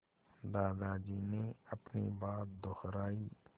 दादाजी ने अपनी बात दोहराई